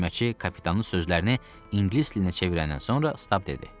Tərcüməçi kapitanın sözlərini ingilis dilinə çevirəndən sonra Stab dedi.